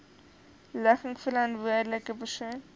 ligging verantwoordelike persoon